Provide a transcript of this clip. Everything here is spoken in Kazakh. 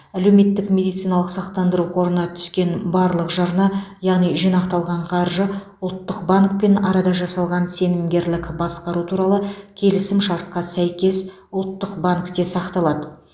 әлеуметтік медициналық сақтандыру қорына түскен барлық жарна яғни жинақталған қаржы ұлттық банкпен арада жасалған сенімгерлік басқару туралы келісімшартқа сәйкес ұлттық банкте сақталады